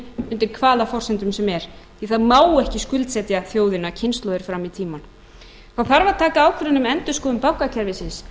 en ekki undir hvaða kostum sem er því það má ekki skuldsetja þjóðina kynslóðir fram í tímann það þarf að taka ákvörðun um endurskoðun bankakerfisins